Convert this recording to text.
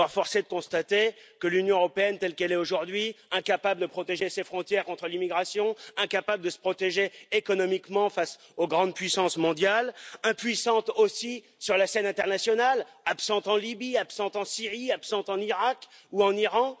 Or, force est de constater que l'Union européenne telle qu'elle est aujourd'hui est incapable de protéger ses frontières contre l'immigration, incapable de se protéger économiquement face aux grandes puissances mondiales, impuissante aussi sur la scène internationale, absente en Libye, absente en Syrie, absente en Iraq ou en Iran.